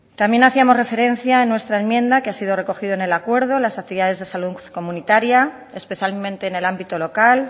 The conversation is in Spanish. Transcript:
también hacíamos referencia en nuestra enmienda que ha sido recogido en el acuerdo las actividades de salud comunitaria especialmente en el ámbito local